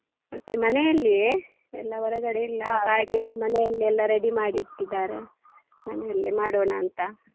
ಮತ್ತೆ ಮನೆಯಲ್ಲಿಯೇ ಎಲ್ಲ ಹೊರಗಡೆ ಇಲ್ಲ party ಮನೆಯಲ್ಲೇ ಎಲ್ಲ ready ಮಾಡಿ ಇಟ್ಟಿದಾರೆ ಮನೆಯಲ್ಲಿ ಮಾಡೋಣ ಅಂತ.